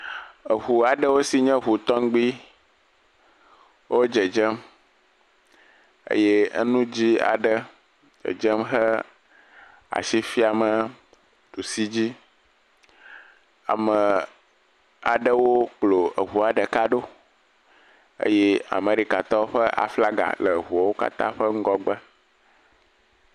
Eŋu aɖewo si nye eŋu tɔŋgbi wo dzedzem. Eye enu dzɛ̃ aɖe dzedze he asi fiamee ɖusi dzi. Amee aɖewo kplɔɔ eŋua ɖeka ɖo eye Amerikatɔwo ƒe aflaga le eŋuawo katã ƒe ŋgɔgbe.